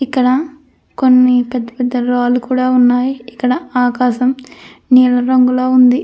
ఇక్కడ కొన్నిపెద్ద పెద్ద రాళ్లు కూడా ఉన్నాయి. ఇక్కడ ఆకాశం నీల రంగులో ఉంది.